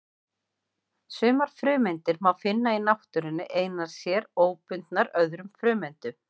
Sumar frumeindir má finna í náttúrunni einar sér, óbundnar öðrum frumeindum.